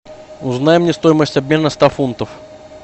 узнай мне стоимость обмена ста фунтов